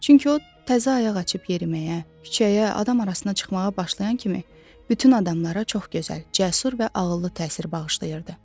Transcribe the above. Çünki o təzə ayaq açıb yeriməyə, küçəyə, adam arasına çıxmağa başlayan kimi bütün adamlara çox gözəl, cəsur və ağıllı təsir bağışlayırdı.